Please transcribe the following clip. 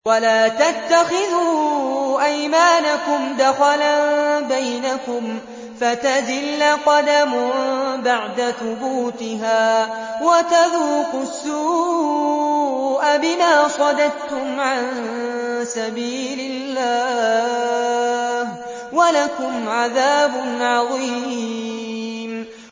وَلَا تَتَّخِذُوا أَيْمَانَكُمْ دَخَلًا بَيْنَكُمْ فَتَزِلَّ قَدَمٌ بَعْدَ ثُبُوتِهَا وَتَذُوقُوا السُّوءَ بِمَا صَدَدتُّمْ عَن سَبِيلِ اللَّهِ ۖ وَلَكُمْ عَذَابٌ عَظِيمٌ